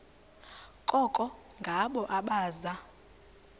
koko ngabo abaza